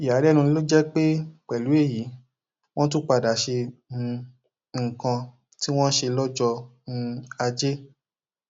ìyàlẹnu ló jẹ pé pẹlú èyí wọn tún padà ṣe um nǹkan tí wọn ṣe lọjọ um ajé